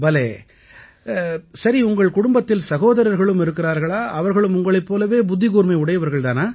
பலே சரி உங்கள் குடும்பத்தில் சகோதரர்களும் இருக்கிறார்களா அவர்களும் உங்களைப் போலவே புத்திக்கூர்மை உடையவர்களா